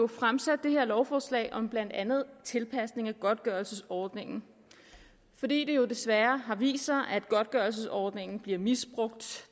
fremsat det her lovforslag om blandt andet tilpasning af godtgørelsesordningen fordi det jo desværre har vist sig at godtgørelsesordningen bliver misbrugt